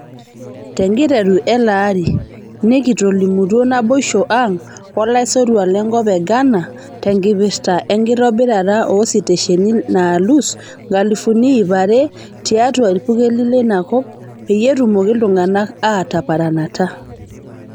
tenkiteru ele arii, nekitolimutuo naiboisho ang' olaisotuk lenkop e ghana tenkipirta enkitobirata oositesheni laalus nkalifuni ipaa aare tiaatu irpurkeli leinakop peyie etumoki iltunganak aataparanata.